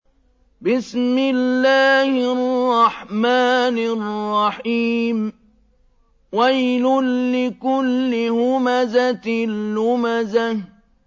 وَيْلٌ لِّكُلِّ هُمَزَةٍ لُّمَزَةٍ